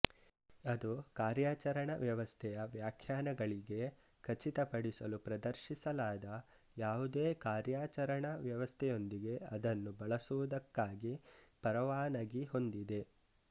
ಅದು ಕಾರ್ಯಾಚರಣಾ ವ್ಯವಸ್ಥೆಯ ವ್ಯಾಖ್ಯಾನಗಳಿಗೆ ಖಚಿತಪಡಿಸಲು ಪ್ರದರ್ಶಿಸಲಾದ ಯಾವುದೇ ಕಾರ್ಯಾಚರಣಾ ವ್ಯವಸ್ಥೆಯೊಂದಿಗೆ ಅದನ್ನು ಬಳಸುವುದಕ್ಕಾಗಿ ಪರವಾನಗಿ ಹೊಂದಿದೆ